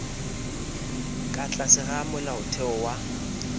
ka tlase ga molaotheo wa